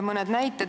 Mõned näited.